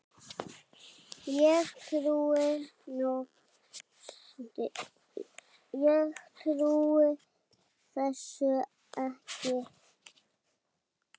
Ég trúi þessu nú ekki!